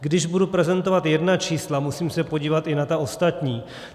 Když budu prezentovat jedna čísla, musím se podívat i na ta ostatní.